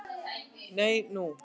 Nei, nú?